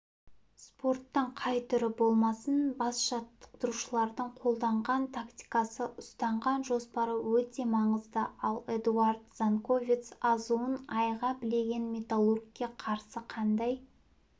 спорттың қай түрі болмасын бас жаттықтырушының қолданған тактикасы ұстанған жоспары өте маңызды ал эдуард занковец азуын айға білеген металлургке қарсы қандай